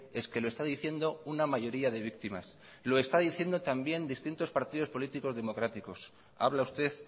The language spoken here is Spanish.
es que lo está diciendo una mayoría de víctimas lo están diciendo también distintos partidos políticos democráticos habla usted